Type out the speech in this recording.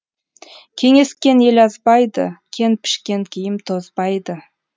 кеңескен ел азбайды кен пішкен киім тозбайды